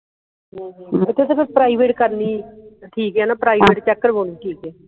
private ਕਰਨੀ ਆ ਠੀਕ ਹੈ ਨਾ private check ਕਰਵਾਨੀ ਠੀਕ ਹੈ